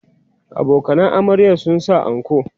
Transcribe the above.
abokanan amaryar sun sa anko